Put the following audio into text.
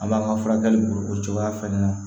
An b'an ka furakɛli bolo o cogoya fɛnɛ na